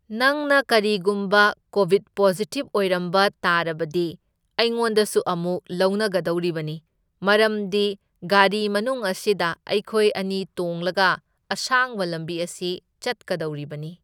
ꯅꯪꯅ ꯀꯔꯤꯒꯨꯝꯕ covid positive ꯑꯣꯏꯔꯝꯕ ꯇꯥꯔꯕꯗꯤ ꯑꯩꯉꯣꯟꯗꯁꯨ ꯑꯃꯨꯛ ꯂꯧꯅꯒꯗꯣꯔꯤꯕꯅꯤ ꯃꯔꯝꯗꯤ ꯒꯥꯔꯤ ꯃꯅꯨꯡ ꯑꯁꯤꯗ ꯑꯩꯈꯣꯢ ꯑꯅꯤ ꯇꯣꯡꯂꯒ ꯑꯁꯥꯡꯕ ꯂꯝꯕꯤ ꯑꯁꯤ ꯆꯠꯀꯗꯧꯔꯤꯕꯅꯤ꯫